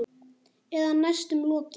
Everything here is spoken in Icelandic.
Eða næstum lokið.